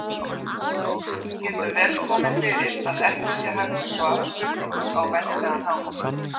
Það getur vel komið fyrir að ekki sé hægt að svara spurningu á venjulegan hátt.